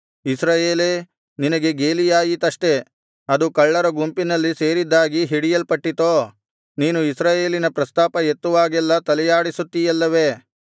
ಇಸ್ರಾಯೇಲೇ ನಿನಗೆ ಗೇಲಿಯಾಯಿತಷ್ಟೆ ಅದು ಕಳ್ಳರ ಗುಂಪಿನಲ್ಲಿ ಸೇರಿದ್ದಾಗಿ ಹಿಡಿಯಲ್ಪಟ್ಟಿತೋ ನೀನು ಇಸ್ರಾಯೇಲಿನ ಪ್ರಸ್ತಾಪ ಎತ್ತುವಾಗೆಲ್ಲಾ ತಲೆಯಾಡಿಸುತ್ತೀಯಲ್ಲವೆ